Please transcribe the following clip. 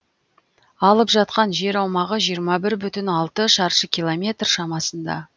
алып жатқан жер аумағы жиырма бір бүтін алты шаршы километр шамасында